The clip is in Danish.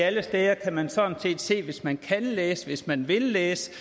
alle steder kan man sådan set se hvis man kan læse og hvis man vil læse